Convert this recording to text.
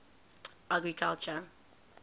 agriculture